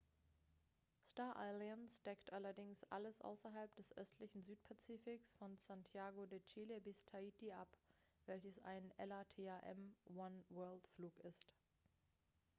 star alliance deckt allerdings alles außerhalb des östlichen südpazifiks von santiage de chile bis tahiti ab welches ein latam oneworld-flug ist